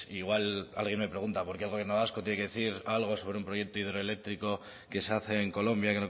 igual alguien me pregunta por qué el gobierno vasco tiene que decir algo sobre un proyecto hidroeléctrico que se hace en colombia